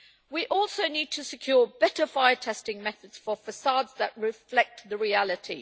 We also need to secure better fire testing methods for façades that reflect the reality.